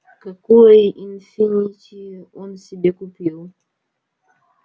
какой инфинити он себе купил